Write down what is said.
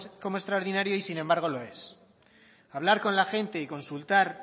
como extraordinario y sin embargo lo es hablar con la gente y consultar